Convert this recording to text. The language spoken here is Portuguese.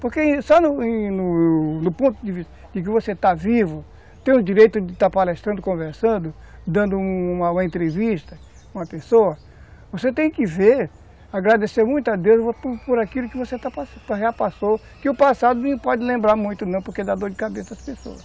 Porque só no ponto de vista de que você está vivo, tem o direito de estar palestrando, conversando, dando uma uma entrevista com uma pessoa, você tem que ver, agradecer muito a Deus por aquilo que você já passou, que o passado não pode lembrar muito não, porque dá dor de cabeça às pessoas.